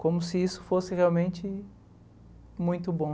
Como se isso fosse realmente muito bom.